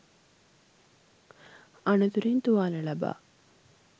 අනතුරින් තුවාල ලබා